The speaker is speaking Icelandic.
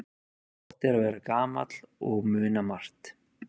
Gott er að vera gamall og muna margt.